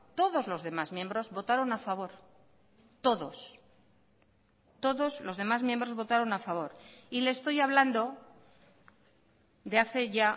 todos los demás miembros votaron a favor todos todos los demás miembros votaron a favor y le estoy hablando de hace ya